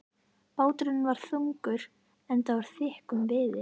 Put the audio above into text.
Báturinn var þungur, enda úr þykkum viði.